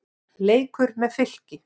Leikur með Fylki.